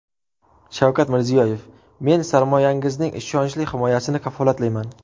Shavkat Mirziyoyev: Men sarmoyangizning ishonchli himoyasini kafolatlayman.